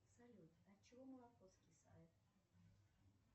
салют от чего молоко скисает